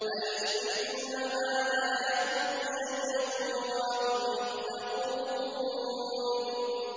أَيُشْرِكُونَ مَا لَا يَخْلُقُ شَيْئًا وَهُمْ يُخْلَقُونَ